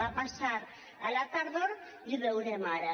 va passar a la tardor i ho veurem ara